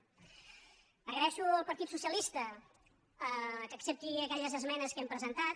agraeixo al partit socialista que accepti aquelles es·menes que hem presentat